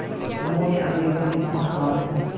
उन्होंने अंग्रेज़ों के नमक क़ानून